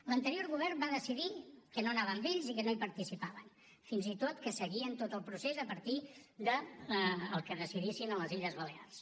l’anterior govern va decidir que no anava amb ells i que no hi participaven fins i tot que seguien tot el procés a partir del que decidissin a les illes balears